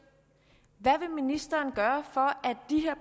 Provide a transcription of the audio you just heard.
hvad vil ministeren gøre for